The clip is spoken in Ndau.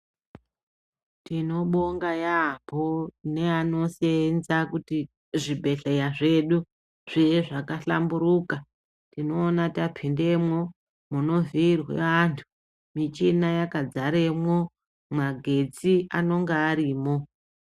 Tinobonga yamho neanosenza kuti zvibhehleya zvedu zviye zvakahlamburuka tinoona tapindemo munovhirwe antu michina yakazaremo magetsi anonga arimo.